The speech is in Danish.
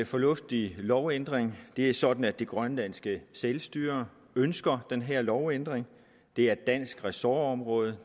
fornuftig lovændring det er sådan at det grønlandske selvstyre ønsker den her lovændring det er et dansk ressortområde